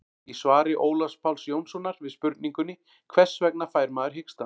í svari ólafs páls jónssonar við spurningunni hvers vegna fær maður hiksta